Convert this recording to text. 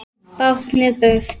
Báknið burt?